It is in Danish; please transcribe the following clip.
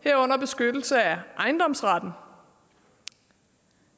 herunder beskyttelse af ejendomsretten